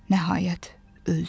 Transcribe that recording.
Nəhayət, öldü.